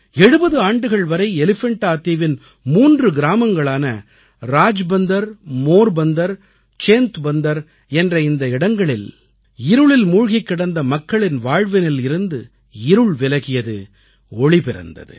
70 ஆண்டுகள் வரை எலிஃபெண்டா தீவின் 3 கிராமங்களான ராஜ்பந்தர் மோர்பந்தர் சேந்த்பந்தர் என்ற இந்த இடங்களில் இருளில் மூழ்கிக் கிடந்த மக்களின் வாழ்வினில் இருந்து இருள் விலகியது ஒளி பிறந்தது